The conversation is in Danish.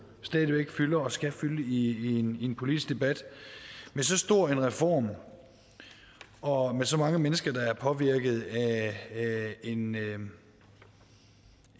stadig væk fylder og skal fylde i en en politisk debat med så stor en reform og med så mange mennesker der er påvirket af en